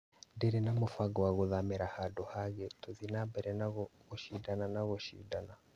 Ndirĩ na mũbango wa gũthamĩra handũ hangĩ tũthiĩ na mbere na gũcindana na gũcinda